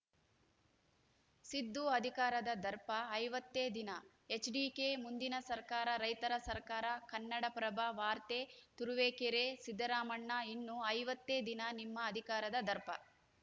ಸಿದ್ದು ಅಧಿಕಾರದ ದರ್ಪ ಐವತ್ತೇ ದಿನ ಎಚ್‌ಡಿಕೆ ಮುಂದಿನ ಸರ್ಕಾರ ರೈತರ ಸರ್ಕಾರ ಕನ್ನಡಪ್ರಭ ವಾರ್ತೆ ತುರುವೇಕೆರೆ ಸಿದ್ದರಾಮಣ್ಣ ಇನ್ನು ಐವತ್ತೇ ದಿನ ನಿಮ್ಮ ಅಧಿಕಾರದ ದರ್ಪ